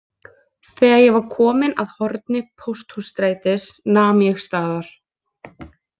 Þegar ég var kominn að horni Pósthússtrætis nam ég staðar.